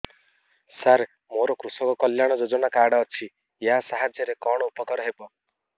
ସାର ମୋର କୃଷକ କଲ୍ୟାଣ ଯୋଜନା କାର୍ଡ ଅଛି ୟା ସାହାଯ୍ୟ ରେ କଣ ଉପକାର ହେବ